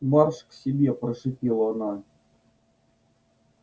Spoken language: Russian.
марш к себе прошипела она